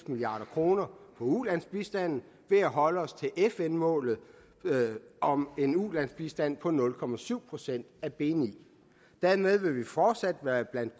milliard kroner på ulandsbistanden ved at holde os til fn målet om en ulandsbistand på nul procent procent af bni dermed vil vi fortsat være blandt